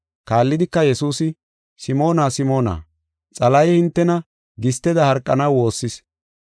Kaallidika Yesuusi, “Simoona, Simoona, Xalahey hintena gisteda harqanaw woossis.